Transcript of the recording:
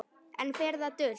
Enn fer það dult